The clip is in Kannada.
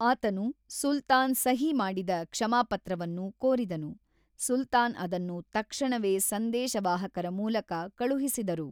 ಆತನು ಸುಲ್ತಾನ್ ಸಹಿ ಮಾಡಿದ ಕ್ಷಮಾಪತ್ರವನ್ನು ಕೋರಿದನು, ಸುಲ್ತಾನ್ ಅದನ್ನು ತಕ್ಷಣವೇ ಸಂದೇಶವಾಹಕರ ಮೂಲಕ ಕಳುಹಿಸಿದರು.